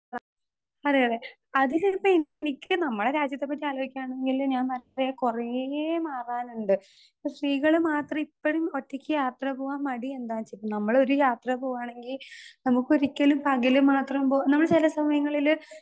Speaker 2 ആ അതെ അതെ അത് ചെലപ്പോ എനിക്ക് നമ്മളെ രാജ്യത്തെ പറ്റി ആലോയ്ക്കാണെങ്കില് ഞാൻ നല്ലെ കൊറേ മാറാനിണ്ട് സ്ത്രീകള് മാത്രം ഇപ്പഴും ഒറ്റക്ക് യാത്ര പോവാൻ മടി എന്താ നമ്മളൊരു യാത്ര പോവാണെങ്കി നമുക്കൊരിക്കലും പകല് മാത്രം പോ നമ്മള് ചെല സമയങ്ങളില്.